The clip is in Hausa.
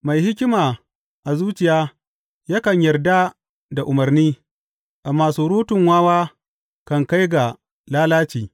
Mai hikima a zuciya yakan yarda da umarni amma surutun wawa kan kai ga lalaci.